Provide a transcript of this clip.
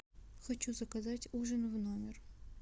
хочу заказать ужин в номер